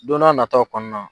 Don n'a nataw kɔnɔna.